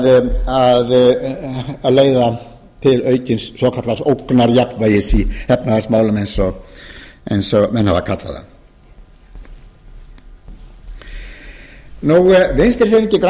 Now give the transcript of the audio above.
úr skák að leiða til aukins svokallaðs ógnarjafnvægis í efnahagsmálum eins og menn hafa kallað það vinstri hreyfingin grænt